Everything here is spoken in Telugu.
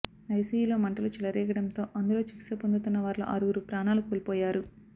ఐసీయూలో మంటలు చెలరేగడంతో అందులో చికిత్స పొందుతున్నవారిలో ఆరుగురు ప్రాణాలు కోల్పోయారు